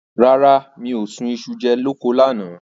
Rárá, mi ò sun iṣu jẹ ní oko lánàá.